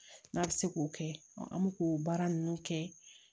N'a bɛ se k'o kɛ an bɛ k'o baara ninnu kɛ